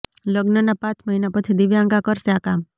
લગ્નના પાંચ મહિના પછી દિવ્યાંકા કરશે આ કામ